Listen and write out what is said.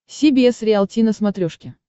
си би эс риалти на смотрешке